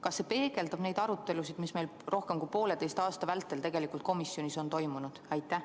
Kas see peegeldab neid arutelusid, mis meil rohkem kui pooleteise aasta vältel tegelikult komisjonis on toimunud?